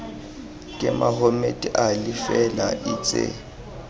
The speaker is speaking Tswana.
ke mohammed ali fela itse